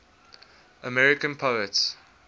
american poets